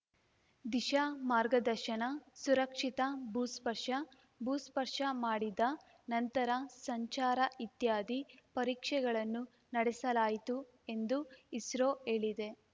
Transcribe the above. ದಿಶಾ ಮಾರ್ಗದರ್ಶನ ಸುರಕ್ಷಿತ ಭೂಸ್ಪರ್ಶ ಭೂಸ್ಪರ್ಶ ಮಾಡಿದ ನಂತರ ಸಂಚಾರ ಇತ್ಯಾದಿ ಪರೀಕ್ಷೆಗಳನ್ನು ನಡೆಸಲಾಯಿತು ಎಂದು ಇಸ್ರೋ ಹೇಳಿದೆ